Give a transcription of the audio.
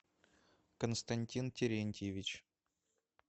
константин терентьевич